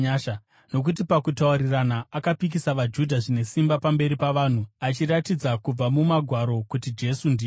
Nokuti pakutaurirana, akapikisa vaJudha zvine simba pamberi pavanhu, achiratidza kubva muMagwaro kuti Jesu ndiye Kristu.